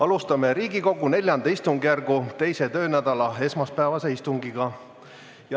Alustame Riigikogu IV istungjärgu teise töönädala esmaspäevast istungit.